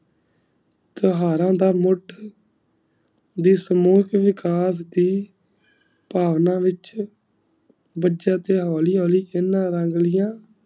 ਇਤ੍ਹਾਰਾ ਦਾ ਮੁਹਤ ਦੇ slow ਚ ਵੀ ਖਾਸ ਦੀ ਤਮਨਾ ਵਿਚ ਦਾਜਤ ਆਯ ਹੋਲੀ ਹੋਲੀ ਕੀਨਾ ਰੰਗ ਲਿਯਾ